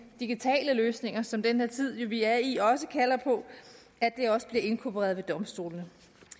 digitale løsninger som den her tid vi er i også kalder på også bliver inkorporeret ved domstolene